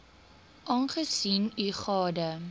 aangesien u gade